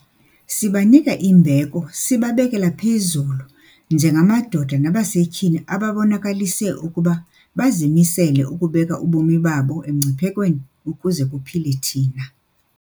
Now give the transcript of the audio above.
Sibanika imbeko sibabekela phezulu njengamadoda nabasetyhini ababonakalise ukuba bazimisele ukubeka ubomi babo emngciphekweni ukuze kuphile thina.